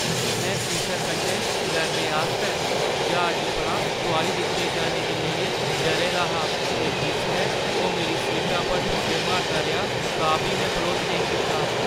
में कुसै कन्नै लड़ने आस्तै ज्हाजै परा तुआरी दित्ते जाने गी लेइयै डरे दा हा ते जिसलै ओह् मेरी सीटा पर ठुड्डे मारदा रेहा तां बी में बरोध नेईं कीता।